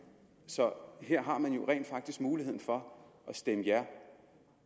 så her har man jo rent faktisk muligheden for at stemme ja